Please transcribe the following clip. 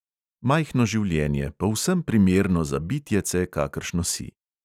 Majhno življenje, povsem primerno za bitjece, kakršno si.